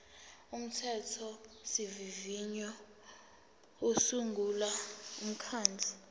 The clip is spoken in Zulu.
umthethosivivinyo usungula umkhandlu